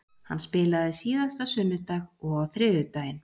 Hann spilaði síðasta sunnudag og á þriðjudaginn.